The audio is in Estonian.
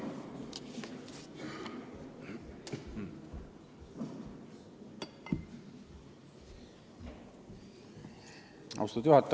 Austatud juhataja!